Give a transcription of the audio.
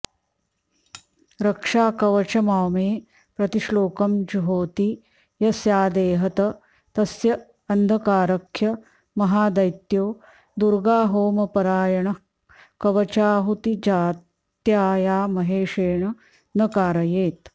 रक्षाकवचमॉमे प्रतिश्लोकं जुहोति यः स्यादेहत तस्य अन्धकारख्य महादैत्यो दुर्गाहोमपरायणः कवचाहुतिजात्यायामहेशेन न कारयेत्